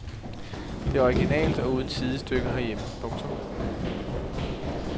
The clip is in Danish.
Det er originalt og uden sidestykke herhjemme. punktum